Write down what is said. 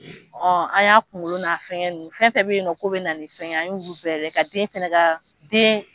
An y'a kunkolo n'a fɛnkɛ ninnu fɛn fɛn bɛ yen nɔ ko bɛ na ni fɛn ye, an y'olu bɛɛ lajɛ, ka den fɛnɛ ka, den